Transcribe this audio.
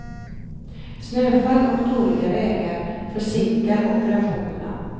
Snöfall och dåliga vägar försinkar operationerna.